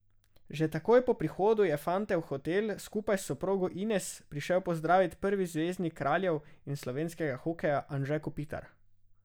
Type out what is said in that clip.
Že takoj po prihodu je fante v hotel, skupaj s soprogo Ines, prišel pozdravit prvi zvezdnik Kraljev in slovenskega hokeja, Anže Kopitar.